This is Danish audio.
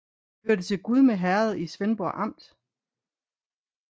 Det hørte til Gudme Herred i Svendborg Amt